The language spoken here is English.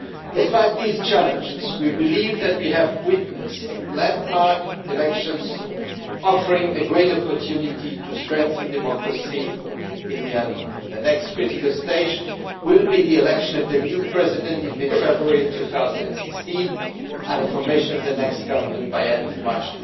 Despite these challenges, we believe that we have witnessed landmark elections, offering a great opportunity to strengthen democracy in Myanmar. The next critical stage will be the election of the new president in mid February 2016 and the formation of the next government by the end of March